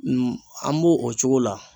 an b'o o cogo la.